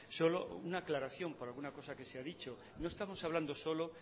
solo una aclaración por alguna cosa que se ha dicho no estamos hablando solo